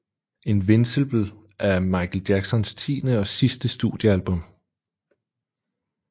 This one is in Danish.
Invincible er Michael Jacksons tiende og sidste studiealbum